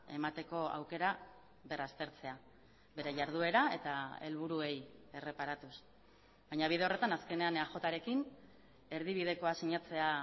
emateko aukera berraztertzea bere jarduera eta helburuei erreparatuz baina bide horretan azkenean eajrekin erdibidekoa sinatzea